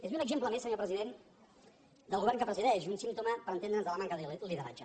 és un exemple més senyor president del govern que presideix un símptoma per entendre’ns de la manca de lideratge